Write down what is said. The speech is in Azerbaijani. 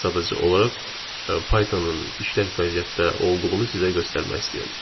Mən sadəcə olaraq Python-un işlək vəziyyətdə olduğunu sizə göstərmək istəyirəm.